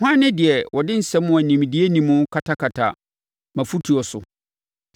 “Hwan ne deɛ ɔde nsɛm a nimdeɛ nni mu katakata mʼafotuo so?